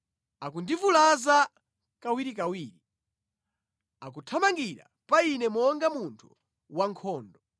Akundivulaza kawirikawiri, akuthamangira pa ine monga munthu wankhondo.